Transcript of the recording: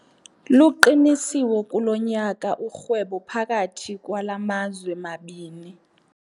Luqinisiwe kulo nyaka urhwebo phakathi kwala mazwe mabini.